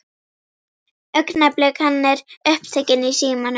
Augnablik, hann er upptekinn í símanum.